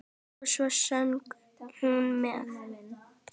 Og svo söng hún með.